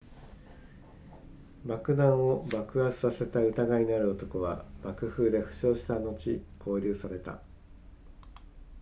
爆弾を爆発させた疑いのある男は爆風で負傷した後拘留された